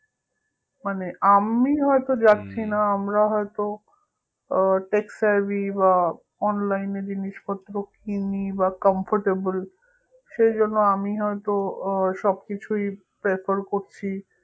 মানে আমি হয়তো আমরা হয়তো আহ বা online এ জিনিসপত্র কিনি বা comfortable সেজন্য আমি হয়তো আহ সবকিছুই prefer করছি